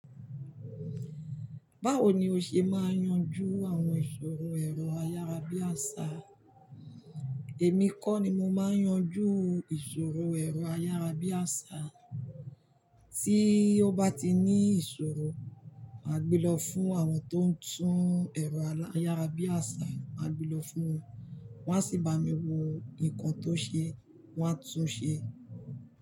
Báwo ni o ṣe máa yanju àwọn ìṣòro ẹ̀rọ ayárabíàṣá? Èmi kọ́ ni mo máa yanju ìṣòro ẹ̀rọ ayárabíàṣá. Tí ó bá ti ní ìṣòro, màá gbé lọ fún àwọn tó ń tún ẹ̀rọ ayárabíàṣá, màá gbé lọ fún wọn. Wọ́n á sì bá mi wo nǹkan tó ṣe, wọ́n á tún un ṣe.